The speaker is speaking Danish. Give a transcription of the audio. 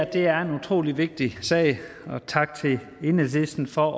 det er en utrolig vigtig sag så tak til enhedslisten for